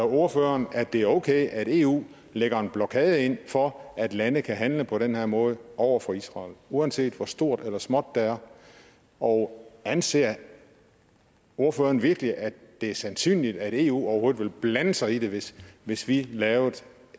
ordføreren at det er okay at eu lægger en blokade ind for at landene kan handle på den her måde over for israel uanset hvor stort eller småt det er og anser ordføreren virkelig at det er sandsynligt at eu overhovedet vil blande sig i det hvis hvis vi lavede